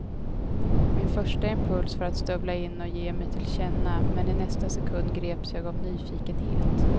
Min första impuls var att stövla in och ge mig till känna, men i nästa sekund greps jag av nyfikenhet.